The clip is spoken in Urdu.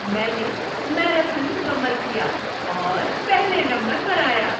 میں نے میراتھن مکمل کیا اور پہلے نمبر پر آیا۔